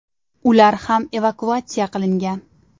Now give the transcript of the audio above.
Ular ham evakuatsiya qilingan.